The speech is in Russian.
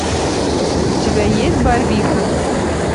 у тебя есть барвиха